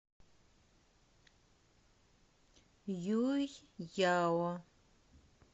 юйяо